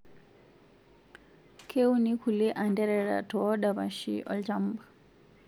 Keuni kulie antereraa toodapashii olchamba